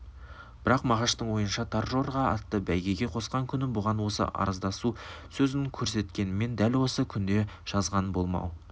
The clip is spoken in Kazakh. бірақ мағаштың ойынша торжорға атты бәйгеге қосқан күні бұған осы арыздасу сөзін көрсеткенмен дәл осы күнде жазған болмау